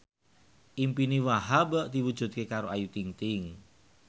impine Wahhab diwujudke karo Ayu Ting ting